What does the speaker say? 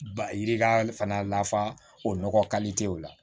Ba yirika fana lafa o nɔgɔ o la